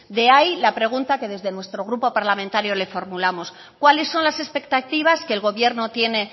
de ahí la pregunta que desde nuestro grupo parlamentario le formulamos cuáles son las expectativas que el gobierno tiene